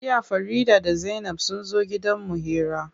Jiya Farida da zainab sunzo gidan mu hira.